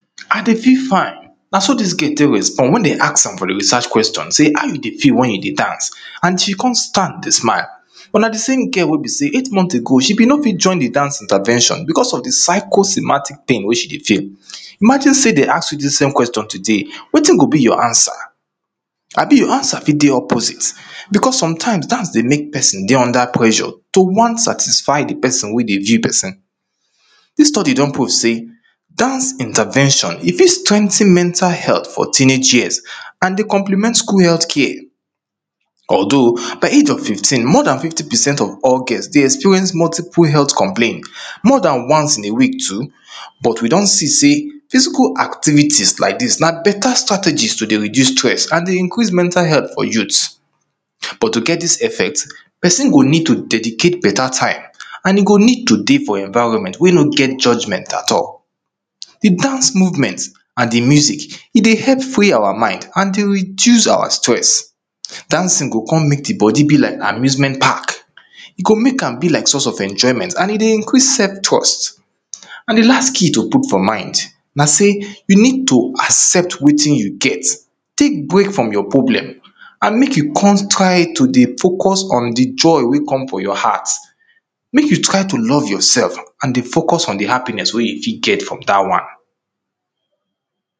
i dey feel fine na so dis girl take respond wen de ask her for di research question say how you dey feel wen you dey dance and she com start dey smile but na di same girl wey bi sey eight months ago she bin no fit join di dance intervention becos of di psycho-semantic pain wey she dey feel imagine sey dem ask you dis question today wetin go be yor answer abi yor answer fit de opposite becos sometimes dance dey mek peson dey under pressure to wan satisfy di pesin wey dey view pesin dis study don prove sey dance intervention e fit strengthen mental health for teenage years and dey compliment skul healthcare although by age of fifteen more dan fifty percent of all girls dey experience multiple health complain more dan once in a week too but we don see say physical activities like dis na beta strategy to dey reduce stress and dey increase mental health for youths but to get dis effect pesin go need to dedicate beta time and e go need to dey for enviroment wey no get judgememt at all di dance movement and di music e dey epp free awa mind and dey reduce awa stress dancin go com mek di bodi be like amusement park e go mek am be like source of emjoyment and e dey increase sef trust and di last key to put for mind na say you nid to accept wetin you get take break from yor problem and mek you com try to dey focus on di joy wey com from yor heart mek you try to love yorsef and focus on di hapiness wey you fit get from dat one